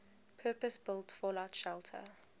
purpose built fallout shelter